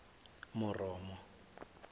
moromo